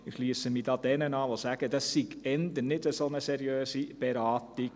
» Ich schliesse mich jenen an, die sagen, dies sei eher eine nicht so seriöse Beratung.